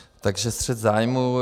Takže střet zájmů.